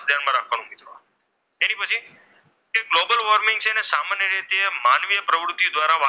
global warming છે ને એ સામાન્ય રીતે માનવીય પ્રવૃત્તિઓ દ્વારા,